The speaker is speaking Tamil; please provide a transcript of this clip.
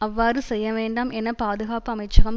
அவ்வாறு செய்யவேண்டாம் என பாதுகாப்பு அமைச்சகம்